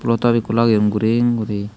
pulotop ekko lageyon guring guri.